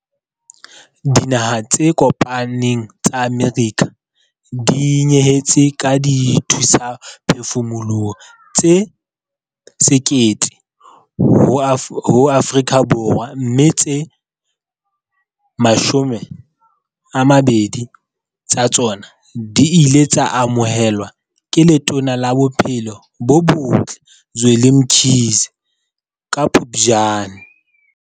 Dinaha tse Kopaneng tsa Amerika di nyehetse ka dithusaphefumoloho tse 1 000 ho Afrika Borwa, mme tse 20 tsa tsona di ile tsa amohelwa ke Letona la Bophelo bo Botle Zweli Mkhize ka Phuptjane.